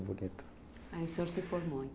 bonito. Aí o senhor se formou